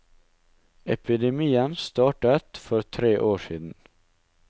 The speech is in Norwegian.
Epidemien startet for tre år siden.